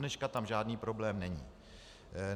Dodneška tam žádný problém není.